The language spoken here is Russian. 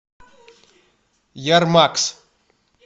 ярмакс